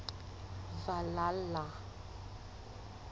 valhalla